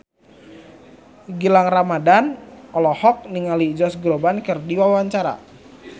Gilang Ramadan olohok ningali Josh Groban keur diwawancara